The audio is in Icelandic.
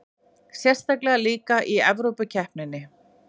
Sérstaklega líka í Evrópukeppninni.